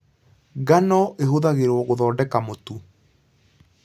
Ngano ĩhuthagĩrwo gũthondeka mũtu.